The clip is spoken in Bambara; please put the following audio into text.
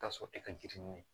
Ka sɔrɔ e ka girin